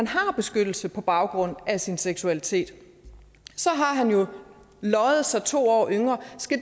har beskyttelse på baggrund af sin seksualitet så har han jo løjet sig to år yngre